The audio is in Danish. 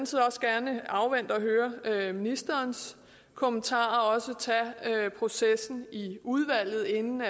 side også gerne afvente og høre ministerens kommentarer og også tage processen i udvalget inden